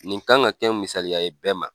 Nin kan ka kɛ misaliya ye bɛɛ ma.